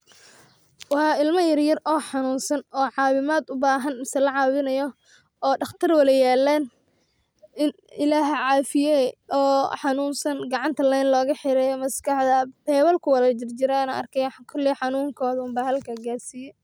Wa ilama yaryar o xanunsan o cawimad ubahan mise lacawinayo daqtar wada yalan, Ilah hacafiye oo xanunsa gacanta lin ogaxiran, maskaxda bebal kuwada bebal jirjiran aa are koley xanunkoda umba halka garsiye